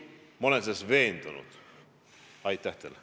Ma olen selles tegelikult veendunud.